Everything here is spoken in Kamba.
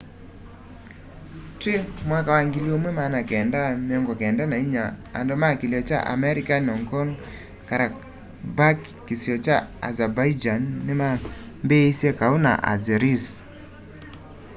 twi 1994 andu ma kilio kya armenian nagorno-karabakh kisio kya azerbaijan nimambiisye kau na azeris